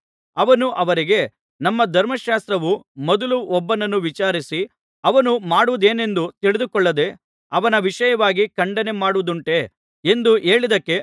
ಅವನು ಅವರಿಗೆ ನಮ್ಮ ಧರ್ಮಶಾಸ್ತ್ರವು ಮೊದಲು ಒಬ್ಬನನ್ನು ವಿಚಾರಿಸಿ ಅವನು ಮಾಡುವುದೇನೆಂದು ತಿಳಿದುಕೊಳ್ಳದೆ ಅವನ ವಿಷಯವಾಗಿ ಖಂಡನೆ ಮಾಡುವುದುಂಟೇ ಎಂದು ಹೇಳಿದ್ದಕ್ಕೆ